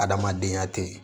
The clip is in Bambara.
Adamadenya tɛ ye